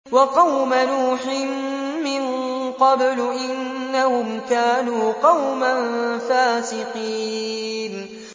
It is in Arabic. وَقَوْمَ نُوحٍ مِّن قَبْلُ ۖ إِنَّهُمْ كَانُوا قَوْمًا فَاسِقِينَ